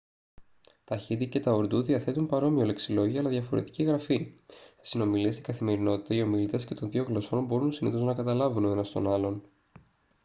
τα χίντι και τα ουρντού διαθέτουν παρόμοιο λεξιλόγιο αλλά διαφορετική γραφή σε συνομιλίες στην καθημερινότητα οι ομιλητές και των δύο γλωσσών μπορούν συνήθως να καταλάβουν ο ένας τον άλλον